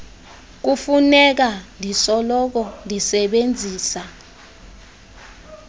kufuneka ndisoloko ndisebenzisa